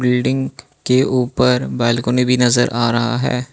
Building के ऊपर balcony भी नजर आ रहा है।